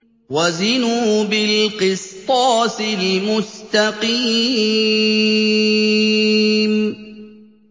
وَزِنُوا بِالْقِسْطَاسِ الْمُسْتَقِيمِ